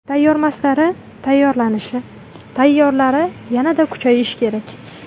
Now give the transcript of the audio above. Tayyormaslari tayyorlanishi, tayyorlari yanada kuchayishi kerak.